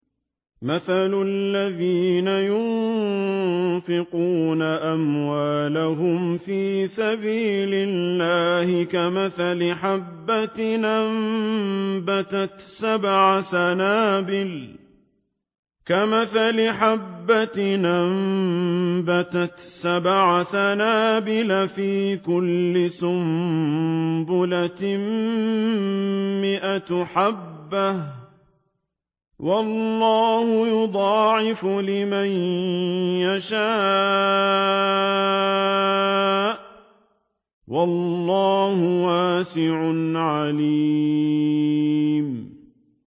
مَّثَلُ الَّذِينَ يُنفِقُونَ أَمْوَالَهُمْ فِي سَبِيلِ اللَّهِ كَمَثَلِ حَبَّةٍ أَنبَتَتْ سَبْعَ سَنَابِلَ فِي كُلِّ سُنبُلَةٍ مِّائَةُ حَبَّةٍ ۗ وَاللَّهُ يُضَاعِفُ لِمَن يَشَاءُ ۗ وَاللَّهُ وَاسِعٌ عَلِيمٌ